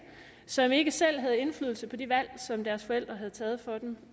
som ikke selv havde indflydelse på de valg som deres forældre havde taget for dem